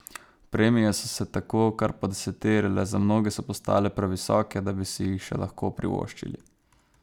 Premije so se tako kar podeseterile, za mnoge so postale previsoke, da bi si jih še lahko privoščili.